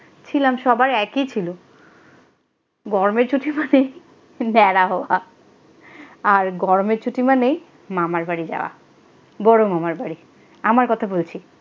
ছিলাম সবার একই ছিল গরমের ছুটি মানেই ন্যাড়া হওয়া আর গরমের ছুটি মানেই মামার বাড়ি যাওয়া বড় মামার বাড়ি আমার কথা বলছি।